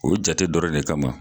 O jate dɔrɔn de kama